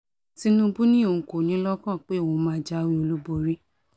tinúbú ni òun kò ní i lọ́kàn pé òun máa jáwé olúborí